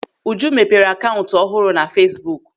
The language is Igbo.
Uju mepere akaụntụ ọhụrụ na Feesbuk.